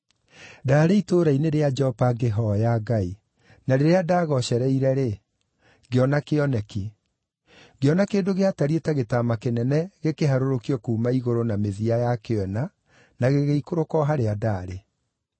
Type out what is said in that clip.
“Ndaarĩ itũũra-inĩ rĩa Jopa ngĩhooya Ngai, na rĩrĩa ndaagoocereire-rĩ, ngĩona kĩoneki. Ngĩona kĩndũ gĩatariĩ ta gĩtama kĩnene gĩkĩharũrũkio kuuma igũrũ na mĩthia yakĩo ĩna, na gĩgĩikũrũka o harĩa ndaarĩ.